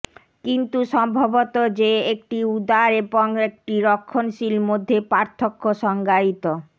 কিন্তু সম্ভবত যে একটি উদার এবং একটি রক্ষণশীল মধ্যে পার্থক্য সংজ্ঞায়িত